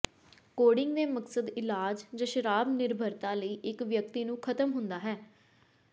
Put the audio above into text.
coding ਦੇ ਮਕਸਦ ਇਲਾਜ ਜ ਸ਼ਰਾਬ ਨਿਰਭਰਤਾ ਲਈ ਇੱਕ ਵਿਅਕਤੀ ਨੂੰ ਖ਼ਤਮ ਹੁੰਦਾ ਹੈ